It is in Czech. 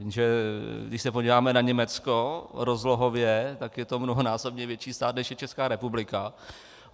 Jenže když se podíváme na Německo rozlohově, tak je to mnohonásobně větší stát, než je Česká republika.